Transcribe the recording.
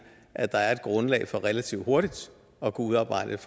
at der er grundlag for relativt hurtigt at kunne udarbejde et